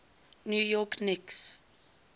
new york knicks